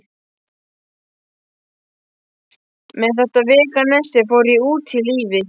Með þetta veganesti fór ég út í lífið.